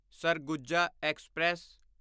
Surguja express